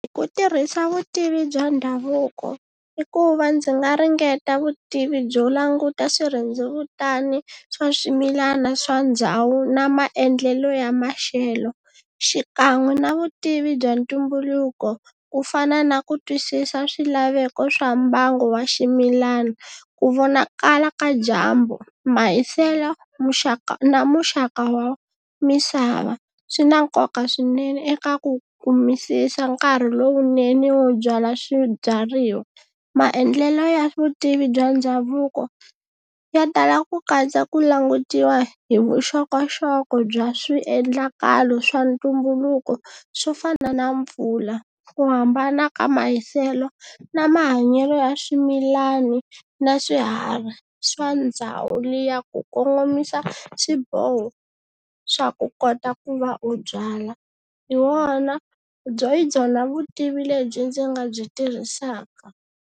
Hi ku tirhisa vutivi bya ndhavuko i ku va ndzi nga ringeta vutivi byo languta swirhendzevutana swa swimilana swa ndhawu na maendlelo ya maxelo, xikan'we na vutivi bya ntumbuluko ku fana na ku twisisa swilaveko swa mbangu wa ximilana. Ku vonakala ka dyambu mahiselo muxaka na muxaka wa misava swi na nkoka swinene eka ku kumisisa nkarhi lowunene wo byala swibyariwa. Maendlelo ya vutivi bya ndhavuko ya tala ku katsa ku langutiwa hi vuxokoxoko bya swiendlakalo swa ntumbuluko swo fana na mpfula ku hambana ka mahiselo na mahanyelo ya swimilani na swiharhi swa ndhawu liya ku kongomisa swiboho swa ku kota ku va u byala hi wona byona hi byona vutivi lebyi ndzi nga byi tirhisaka.